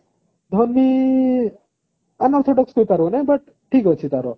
Dhoni unorthodox player ହୋଇ ପାରିବ ନାହିଁ but ଠିକ ଅଛି ତାର